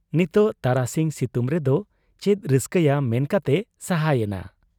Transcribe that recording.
ᱱᱤᱛᱚᱜ ᱛᱟᱨᱟᱥᱤᱧ ᱥᱤᱛᱩᱝ ᱨᱮᱫᱚ ᱪᱮᱫ ᱨᱟᱹᱥᱠᱟᱹᱭᱟ ᱢᱮᱱ ᱠᱟᱛᱮᱭ ᱥᱟᱦᱟ ᱭᱮᱱᱟ ᱾